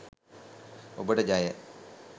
ඔබට ජය